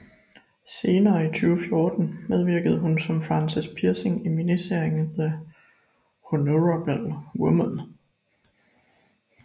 Senere i 2014 medvirkede hun som Frances Pirsig i miniserien The Honourable Woman